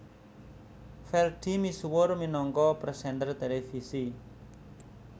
Ferdi misuwur minangka presenter televisi